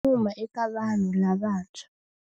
Wa nyuma eka vanhu lavantshwa.